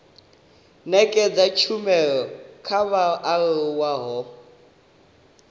nekedza tshumelo kha vhaaluwa ho